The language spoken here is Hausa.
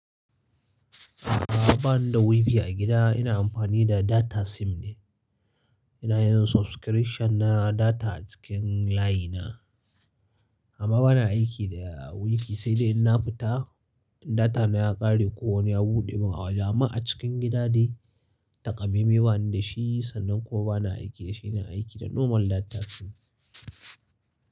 A'a bani da WiFi a gida, ina amfani da data sim ne. Ina yin subscription na data cikin line na. Amma bana aiki da WiFi sai dai inna fita, in data na ya ƙare ko wani ya buɗe min. A jama'a cikin gida dai, taƙamamme bani da shi, sannan kuma bana aiki da shi. Ina aiki da normal data sim.